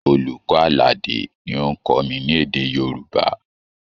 Olùkọ́ Àlàdé ni ó ń kọ́ mi ní èdè Yorùbá